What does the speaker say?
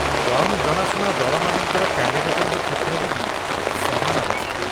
କମ୍ ଜଣାଶୁଣା ଦଳମାନଙ୍କର କ୍ୟାଣ୍ଡିଡେଟଙ୍କ କ୍ଷେତ୍ରରେ ବି ସମାନ ଅବସ୍ଥା ।